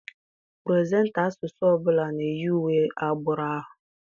Puresenta asụsụ ọbụla na-eyi uwe agbụrụ ahụ.